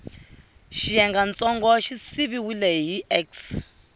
xiyengantsongo xi siviwile hi x